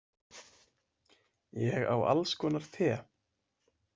Ég á alls konar te.